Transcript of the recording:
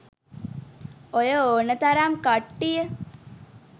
ඔය ඕන තරම් කට්ටිය